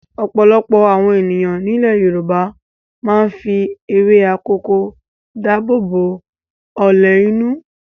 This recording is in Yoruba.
Ọ̀pọ̀lọpọ̀ àwọn ènìyàn nílẹ̀ Yorùbá máa ń fi ewé akòko dáàbò bo ọlẹ̀ inú.